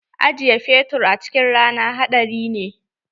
Ajiye fetur a cikin rana haɗari ne.